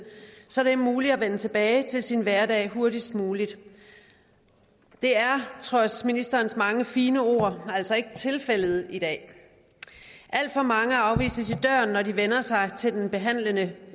så det er muligt at vende tilbage til deres hverdag hurtigst muligt det er trods ministerens mange fine ord altså ikke tilfældet i dag alt for mange afvises i døren når de henvender sig til den behandlende